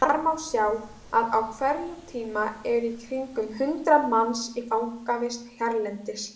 Þar má sjá að á hverjum tíma eru í kringum hundrað manns í fangavist hérlendis.